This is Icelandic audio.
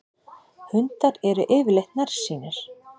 Hundar eru yfirleitt nærsýnir.